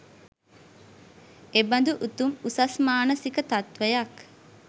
එබඳු උතුම් උසස් මානසික තත්ත්වයක්